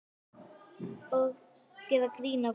Og gera grín að mér.